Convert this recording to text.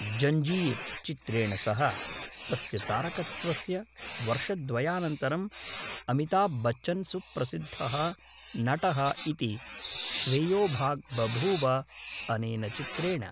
जञ्जीर् चित्रेण सह तस्य तारकत्वस्य वर्षद्वयानन्तरम् अमिताभ् बच्चन् सुप्रसिद्धः नटः इति श्रेयोभाक् बभूव अनेन चित्रेण।